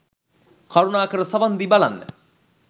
කරුණාකර සවන් දී බලන්න